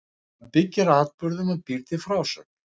Hann byggir á atburðum og býr til frásögn.